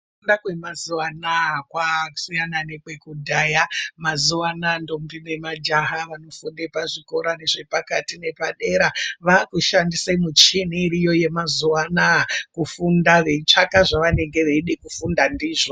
Kufunda kwemazuwanaya kwasiyana nekwekudhaya mazuwanaya ndombi nemajaha vanofunde pazvikora zvepakati nepadera vakushandise michini iriyo yemazuwanaya kufunda veitsvaka zvavanenge veida kufunda ndizvo.